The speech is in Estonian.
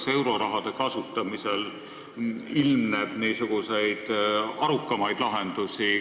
Kas euroraha kasutamisel ilmneb arukamaid lahendusi?